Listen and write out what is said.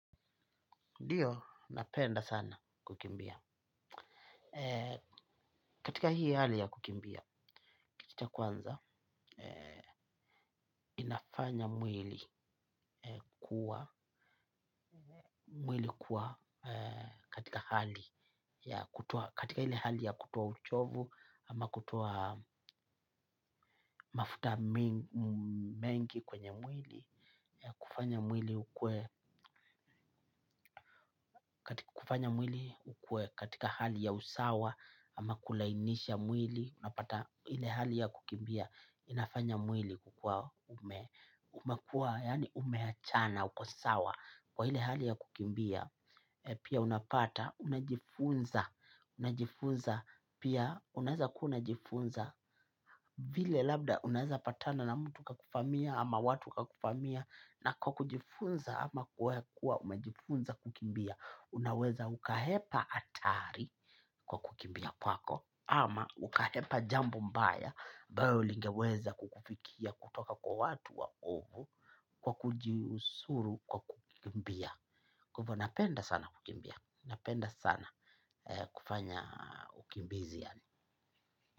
Ndiyo, napenda sana kukimbia. Katika hii hali ya kukimbia, kitu cha kwanza, inafanya mwili kuwa katika hali. Katika hili hali ya kutoa uchovu, ama kutoa mafuta mengi kwenye mwili. Kufanya mwili ukue katika hali ya usawa, ama kulainisha mwili. Unapata hile hali ya kukimbia. Inafanya mwili kukua umekua. Yani umeachana, ukosawa. Kwa hile hali ya kukimbia pia unapata, unajifunza. Pia unaeza una jifunza. Vile labda unaza patana na mtu kakuvamia ama watu kakufamia. Na kwa kujifunza ama kwa kuwa umejifunza kukimbia. Unaweza uka hepa atari kwa kukimbia kwako. Ama ukahepa jambo mbaya abayo ulingeweza kukufikia kutoka kwa watu wa ovu. Kwa kujiusuru kwa kukimbia. Kwa ivo napenda sana kukimbia. Napenda sana kufanya ukimbizia.